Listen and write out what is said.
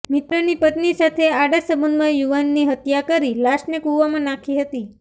મિત્રની પત્ની સાથે આડા સંબંધમાં યુવાનની હત્યા કરી લાશને કૂવામાં નાંખી હતી